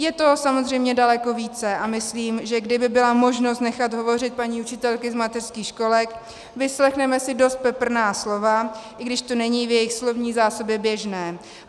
Je toho samozřejmě daleko více a myslím, že kdyby byla možnost nechat hovořit paní učitelky z mateřských školek, vyslechneme si dost peprná slova, i když to není v jejich slovní zásobě běžné.